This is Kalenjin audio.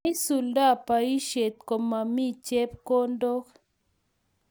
Maisuldo boishet komomii chepkondok